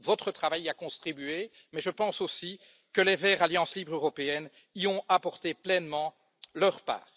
Votre travail y a contribué, mais je pense aussi que les Verts Alliance Libre européenne y ont apporté pleinement leur part.